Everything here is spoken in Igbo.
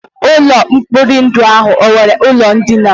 Ụlọ mkpori ndụ ahụ enwere ụlọ ndina?